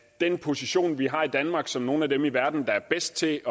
den position vi har i danmark som nogle af dem i verden der er bedst til